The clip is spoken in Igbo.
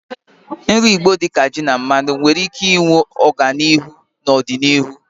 Nri Igbo dị ka ji na mmanu nkwụ nwere ike ịhụ ọganihu ọzọ n'ọdịnihu.